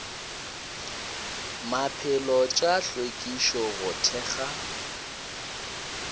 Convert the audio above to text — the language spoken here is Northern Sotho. maphelo tša hlwekišo go thekga